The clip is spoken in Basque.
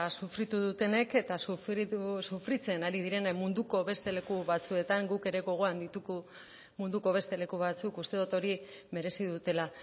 sufritu dutenek eta sufritzen ari direnen munduko beste leku batzuetan guk ere gogoan ditugu munduko beste leku batzuk uste dut hori merezi dutela